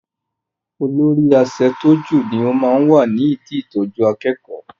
Olóri aṣẹ̀tọ́jú ni ó máa ń wà ní idi ìtọjú akẹ́kọ̀ọ́.